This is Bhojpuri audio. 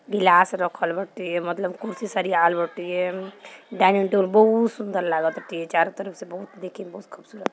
गिलस रखल बाटे मतलब कुर्सी सरियावाल बाटे डाइनिंग टेबल बहुत सुंदर लागताटे चारों तरफ से बहुत देखे में बहुत खूबसूरत--